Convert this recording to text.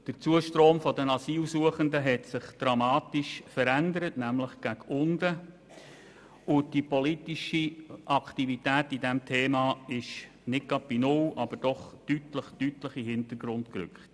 Der Zustrom der Asylsuchenden hat sich dramatisch verändert, nämlich nach unten, und die politische Aktivität bei diesem Thema ist nicht gerade bei null angekommen, aber doch deutlich in den Hintergrund gerückt.